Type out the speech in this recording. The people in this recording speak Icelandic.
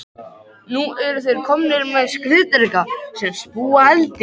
Nú eru þeir komnir með skriðdreka sem spúa eldi!